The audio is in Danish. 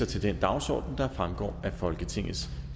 til den dagsorden der fremgår af folketingets